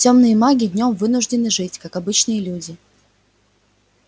тёмные маги днём вынуждены жить как обычные люди